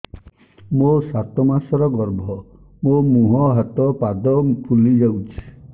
ମୋ ସାତ ମାସର ଗର୍ଭ ମୋ ମୁହଁ ହାତ ପାଦ ଫୁଲି ଯାଉଛି